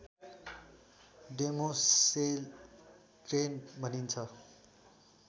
demoiselle crane भनिन्छ